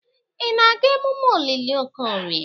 Ị na-aga emume olili Okorie?